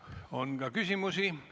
On ka küsimusi.